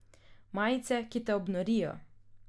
Majice, ki te obnorijo.